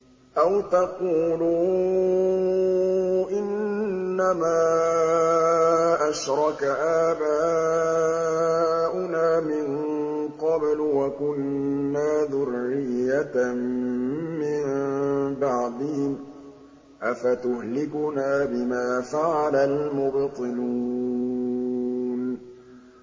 أَوْ تَقُولُوا إِنَّمَا أَشْرَكَ آبَاؤُنَا مِن قَبْلُ وَكُنَّا ذُرِّيَّةً مِّن بَعْدِهِمْ ۖ أَفَتُهْلِكُنَا بِمَا فَعَلَ الْمُبْطِلُونَ